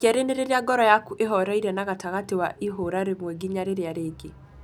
Ya kerĩ nĩ rĩrĩa ngoro yaku ĩhoreire na gatagatĩ wa ihũra rĩmwe ginya rĩrĩa rĩngĩ.